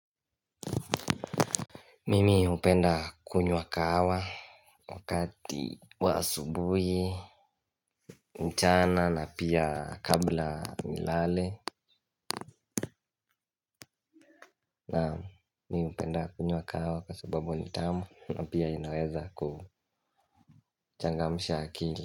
Mimi hupenda kunywa kahawa wakati wa asubuhi, mchana na pia kabla nilale na mi hupenda kunywa kahawa kwa sababu ni tamu na pia inaweza kuchangamsha akili.